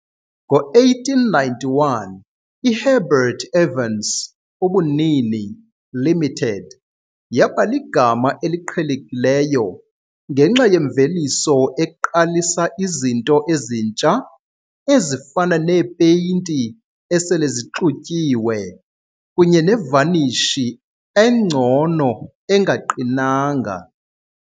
Ngo-1891, iHerbert Evans, ubunini Limited, yaba ligama eliqhelekileyo ngenxa yemveliso eqalisa izinto ezintsha ezifana neepeyinti esele zixutyiwe kunye nevanishi, Engcono engaqinanga.